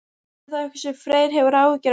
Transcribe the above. Er það eitthvað sem Freyr hefur áhyggjur af?